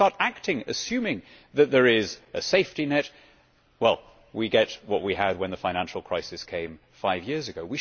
When people start acting on the assumption that there is a safety net, we get what we had when the financial crisis came five years ago.